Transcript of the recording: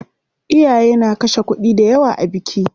Iyaye na kashe kuɗi dayawa a biki.